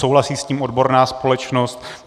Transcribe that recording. Souhlasí s tím odborná společnost.